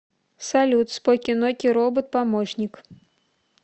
салют споки ноки робот помощник